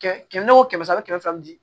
Kɛmɛ kɛmɛ o kɛmɛ sara bɛ kɛmɛ fila di